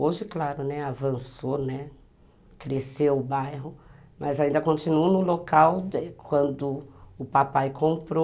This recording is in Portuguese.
Hoje, claro, né, avançou, né, cresceu o bairro, mas ainda continuo no local de quando o papai comprou.